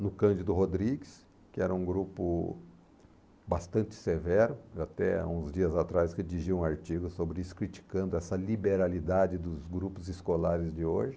no Cândido Rodrigues, que era um grupo bastante severo, até há uns dias atrás eu redigi um artigo sobre isso, criticando essa liberalidade dos grupos escolares de hoje.